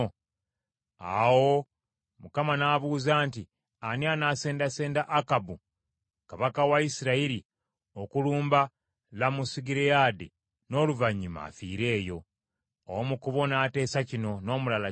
Awo Mukama n’abuuza nti, ‘Ani anasendasenda Akabu kabaka wa Isirayiri okulumba Lamosugireyaadi n’oluvannyuma afiire eyo?’ “Omu ku bo n’ateesa kino, n’omulala kiri.